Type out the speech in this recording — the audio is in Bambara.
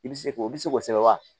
I bɛ se k'o i bɛ se k'o sɛmɛ wa